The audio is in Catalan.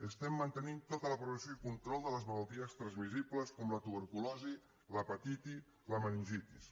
estem mantenint tota la progressió i control de les malalties transmissibles com la tuberculosi l’hepatitis la meningitis